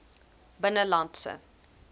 binnelandse